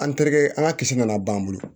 An terikɛ an ka kin nana ban